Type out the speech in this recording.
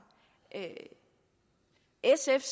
at sf